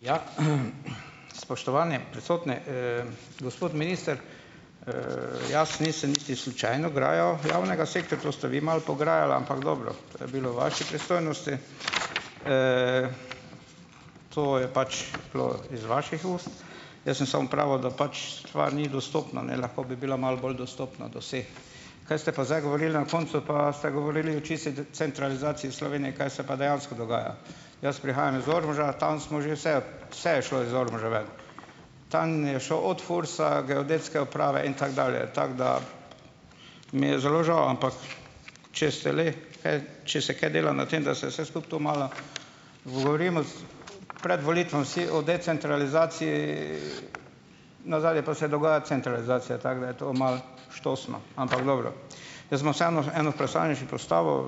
Ja, spoštovani prisotni, gospod minister . jaz nisem niti slučajno grajal javnega sektorja, to ste vi malo pograjali, ampak dobro . To je bilo v vaši pristojnosti, to je pač bilo iz vaših ust . Jaz sem samo pravil, da pač stvar ni dostopna, ne. Lahko bi bila malo bolj dostopna, do vseh. Kaj ste pa zdaj govorili na koncu pa ste govorili čisto centralizaciji Slovenije, kaj se pa dejansko dogaja. Jaz prihajam iz Ormoža , tam smo že vse, vse je šlo iz Ormoža ven. Tam je šel od FURS-a, Geodetske uprave in tako dalje. Tako da , mi je zelo žal, ampak če se le kaj, če se kaj dela na tem, da se se skupaj to malo govorimo s , pred volitvami vsi o decentralizaciji, , nadalje pa se dogaja centralizacija. Tako da je to malo štosno, ampak dobro . Jaz bom vseeno eno vprašanje še postavil,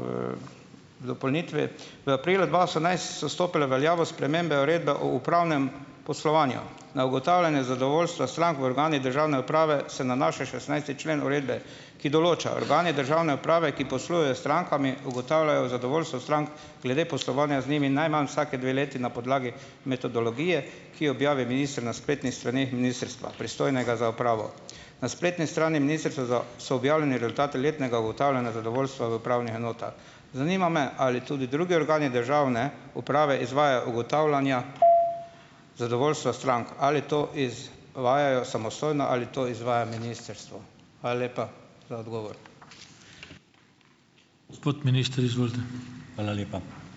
dopolnitvi. V aprilu dva osemnajst so stopile v veljavo spremembe Uredbe o upravnem poslovanju. A ugotavljanje zadovoljstva strank v organih državne uprave se nanaša na šestnajsti člen uredbe, ki določa: "Organi državne uprave, ki poslujejo strankami, ugotavljajo zadovoljstvo strank glede poslovanja z njimi najmanj vsake dve leti na podlagi metodologije, ki objavi minister na spletnih straneh ministrstva, pristojnega za upravo." Na spletni strani ministrstva za, so objavljeni rezultati letnega ugotavljanja zadovoljstva v upravnih enotah. Zanima me, ali tudi drugi organi državne uprave izvajajo ugotavljanja zadovoljstva strank. Ali to iz- vajajo samostojno ali to izvaja ministrstvo? Hvala lepa za odgovor. Gospod minister, izvolite. Hvala lepa.